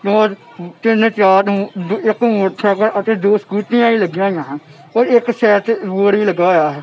ਇੱਕ ਮੋਟਰਸਾਈਕਲ ਅਤੇ ਦੋ ਸਕੂਟੀਆਂ ਵੀ ਲੱਗਿਆ ਹੋਇਆ ਹਨ ਔਰ ਇੱਕ ਸਾਈਡ ਤੇ ਰੋਡ ਵੀ ਲੱਗਾ ਹੋਇਆ ਹੈ।